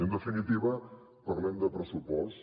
i en definitiva parlem de pressupost